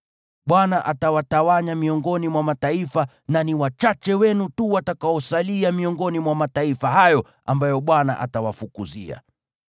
Bwana atawatawanya miongoni mwa mataifa, na ni wachache wenu tu watakaosalia miongoni mwa mataifa hayo ambayo Bwana atawafukuzia.